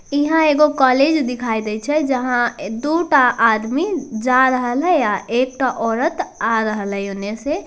इंहा एगो कॉलेज दिखाई देइ छै जहाँ दो टा आदमी जा रहल हई आ एक टा ओरत आ रहल हई ओने से ।